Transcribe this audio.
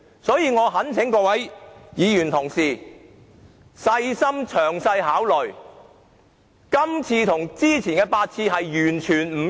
所以，我懇請各位議員細心詳細考慮，這次的要求與之前8次完全不同。